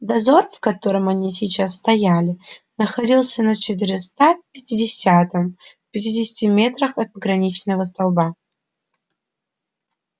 дозор в котором они сейчас стояли находился на четыреста пятидесятом в пятидесяти метрах от пограничного столба